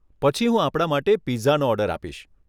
પછી હું આપણા માટે પિઝાનો ઓર્ડર આપીશ.